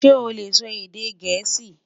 ṣé ole sò èdè gèésì?